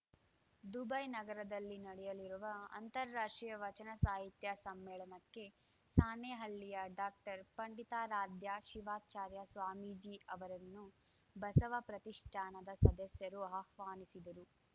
Dubai ನಗರದಲ್ಲಿ ನಡೆಯಲಿರುವ ಅಂತಾರಾಷ್ಟ್ರೀಯ ವಚನ ಸಾಹಿತ್ಯ ಸಮ್ಮೇಳನಕ್ಕೆ ಸಾಣೇಹಳ್ಳಿಯ ಡಾಕ್ಟರ್ಪಂಡಿತಾರಾಧ್ಯ ಶಿವಾಚಾರ್ಯ ಸ್ವಾಮೀಜಿ ಅವರನ್ನು ಬಸವ ಪ್ರತಿಷ್ಠಾನದ ಸದಸ್ಯರು ಆಹ್ವಾನಿಸಿದರು